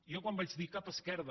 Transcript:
jo quan vaig dir cap esquerda